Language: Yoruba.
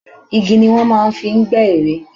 Igi ni wọ́n máa ń fi ń gbẹ́ ère.